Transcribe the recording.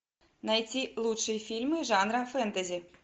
найти лучшие фильмы жанра фэнтези